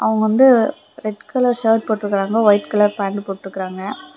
அவங்க வந்து red colour shirt போட்டுருக்காங்க ஒயிட் கலர் பேண்ட் போட்டுருக்காங்க.